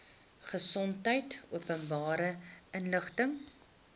gesondheid openbare inligting